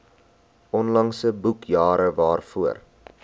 onlangse boekjare waarvoor